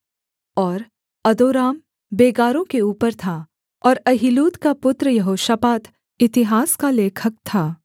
और अदोराम बेगारों के ऊपर था और अहीलूद का पुत्र यहोशापात इतिहास का लेखक था